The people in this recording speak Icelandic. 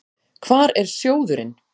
Hvar er sjóðurinn?